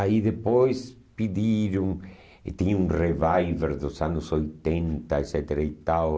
Aí depois pediram... e tinha um reviver dos anos oitenta, et cetera e tal.